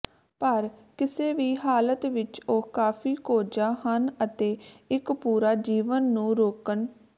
ਪਰ ਕਿਸੇ ਵੀ ਹਾਲਤ ਵਿੱਚ ਉਹ ਕਾਫ਼ੀ ਕੋਝਾ ਹਨ ਅਤੇ ਇੱਕ ਪੂਰਾ ਜੀਵਨ ਨੂੰ ਰੋਕਣ